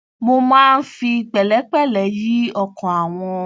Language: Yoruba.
mo máa ń fi pẹlẹpẹlẹ yí ọkàn àwọn